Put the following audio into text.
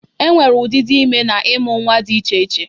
E nwere ụdịdị ime na ịmụ nnwa dị iche iche.